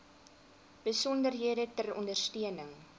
besonderhede ter ondersteuning